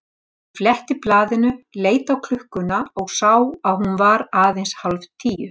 Hann fletti blaðinu, leit á klukkuna og sá að hún var aðeins hálf tíu.